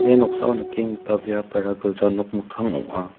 ia noksao nikenggipa biapara gilja nok mikkang ong·a.